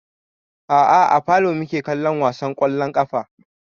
A'a a falo muke kallon wasan ƙwallon ƙafa